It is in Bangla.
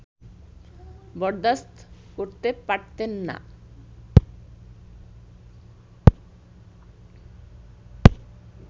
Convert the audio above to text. বরদাস্ত করতে পারতেন না